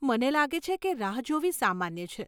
મને લાગે છે કે રાહ જોવી સામાન્ય છે.